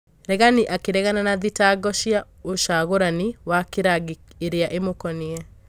Regani akĩregana na thitango cia ũcagũrani wa kĩrangi iria imũkoniĩ.